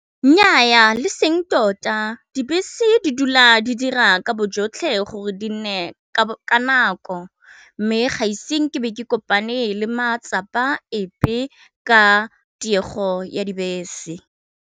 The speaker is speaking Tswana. Nnyaa le seng tota dibese di dula di dira ka bojotlhe gore di nne ka nako, mme gaiseng ke be ke kopane le matsapa epe ka tiego ya dibese.